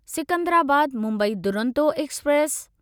Secunderabad Mumbai Duronto express